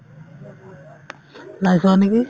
নাই চোৱা নেকি